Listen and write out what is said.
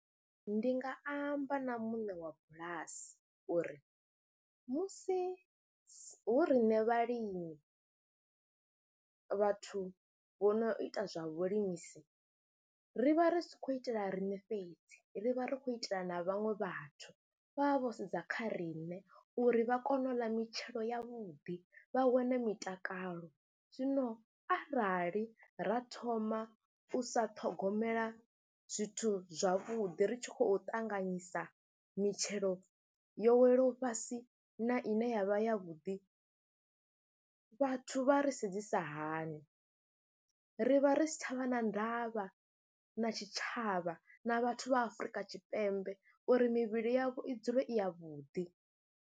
Ndi nga amba na muṋe wa bulasi uri musi hu riṋe vhalimi, vhathu vho no ita zwa vhulimisi ri vha ri sa khou itela riṋe fhedzi ri vha ri khou itela na vhaṅwe vhathu, vha vha vho sedza kha riṋe uri vha kone u ḽa mitshelo yavhuḓi, vha wane mitakalo. Zwino arali ra thoma u sa ṱhogomela zwithu zwavhuḓi ri tshi khou ṱanganyisa mitshelo yo welaho fhasi na ine ya vha yavhuḓi, vhathu vha re sedzisa hani, ri vha ri si tsha vha na ndavha na tshitshavha na vhathu vha Afrika Tshipembe uri mivhili yavho i dzule i yavhuḓi.